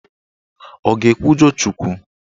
Ọ ga-ekwujọ Chukwu?